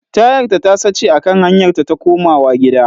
Tayarta ta sace a kan hanyar ta ta komawa gida.